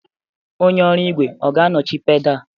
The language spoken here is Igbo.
Onye ọrụ igwe ọ ga-anọchi pedal?